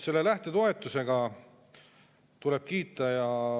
Selle lähtetoetuse eest tuleb kiita.